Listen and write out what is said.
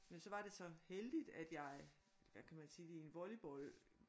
Men så var det så heldigt at jeg hvad kan man sige det i en volleyball